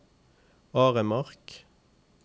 Aremark